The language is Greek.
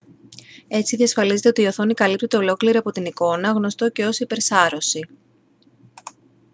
έτσι διασφαλίζεται ότι η οθόνη καλύπτεται ολόκληρη από την εικόνα γνωστό και ως υπερσάρωση